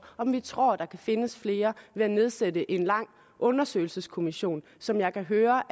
om vi tror der kan findes flere ved at nedsætte en undersøgelseskommission som jeg kan høre